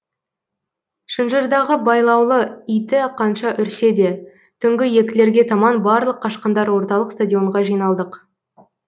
шынжырдағы байлаулы иті қанша үрсе де түнгі екілерге таман барлық қашқындар орталық стадионға жиналдық